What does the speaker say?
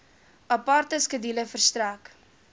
aparte skedule verstrek